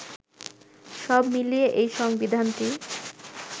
সব মিলিয়ে এই সংবিধানটি